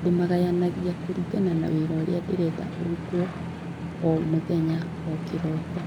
Ndĩmagayanagia kũringana na wĩra ũrĩa ndĩrenda wĩkwo o mũthenya o kĩroko.